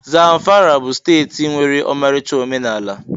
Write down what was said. Zamfara bụ steeti nwere ọmarịcha omenala.